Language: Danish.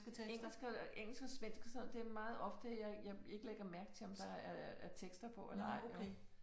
Engelsk og engelsk og svensk og sådan det er meget ofte at jeg jeg ikke lægger mærke til om der er tekster på eller ej